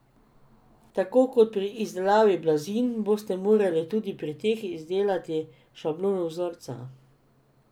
Tako kot pri izdelavi blazin boste morali tudi pri teh izdelati šablono vzorca.